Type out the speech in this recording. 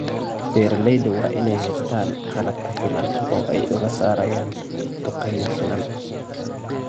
Beeralayda waa in ay haystaan ??qalab ku filan oo ay uga saarayaan dhukayga finan.